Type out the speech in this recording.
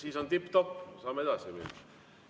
Siis on tipp-topp, saame edasi minna.